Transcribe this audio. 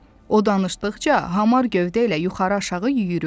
O danışdıqca, hamar gövdə ilə yuxarı-aşağı yüyürürdü.